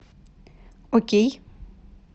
окей